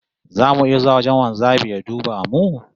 Zamu iya zuwa wajen wanzamin ya duba mu?